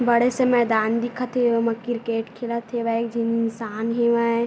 बड़े से मैदान दिखत हे ओमा क्रिकेट खेलत हेवय जहि इंसान हेवय।